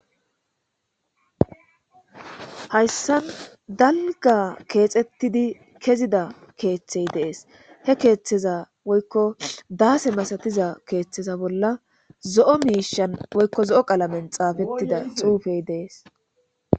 Hayssan dalga keexettidi kezida keeththey dees he keeththeza woykko daase masatiza keeththeza bolla zo'o miishan woykko zo'o qalamen xaafettida xuufey dees.